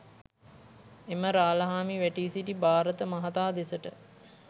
එම රාළහාමි වැටී සිටි භාරත මහතා දෙසට